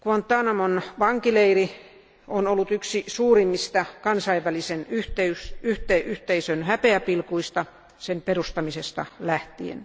Guantánamon vankileiri on ollut yksi suurimmista kansainvälisen yhteisön häpeäpilkuista sen perustamisesta lähtien.